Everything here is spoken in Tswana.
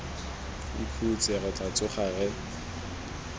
ikhutse re tla tsoga re